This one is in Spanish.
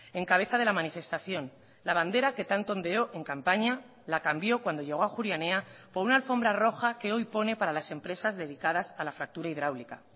en cabeza de la manifestación la bandera que tanto ondeó en campaña la cambió cuando llego a ajuria enea por una alfombra roja que hoy pone para las empresas dedicadas a la fractura hidráulica